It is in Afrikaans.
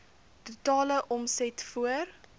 totale omset voor